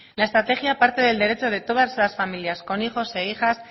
la estrategia parte del derecho de todas las familias con hijos e hijas